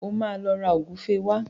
O máa lọ ra ògúfe wá